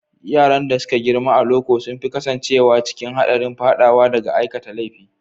Yaran da suka girma a loko sun fi kasancewa cikin haɗarin faɗawa ga aikata laifi.